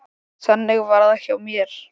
Þannig var það hjá mér.